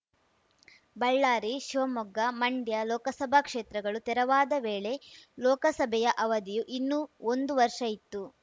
ಬಳ್ಳಾರಿ ಶಿವಮೊಗ್ಗ ಮಂಡ್ಯ ಲೋಕಸಭಾ ಕ್ಷೇತ್ರಗಳು ತೆರವಾದ ವೇಳೆ ಲೋಕಸಭೆಯ ಅವಧಿಯು ಇನ್ನೂ ಒಂದು ವರ್ಷ ಇತ್ತು